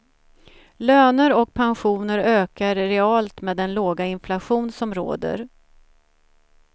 Löner och pensioner ökar realt med den låga inflation som råder.